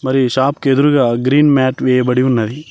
మరియు షాప్ కి ఎదురుగా గ్రీన్ మ్యాట్ వేయబడి ఉన్నది.